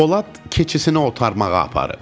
Polad keçisini otarmağa aparıb.